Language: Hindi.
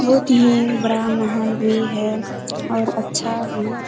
बहुत ही बड़ा महल भी है और अच्छा भी --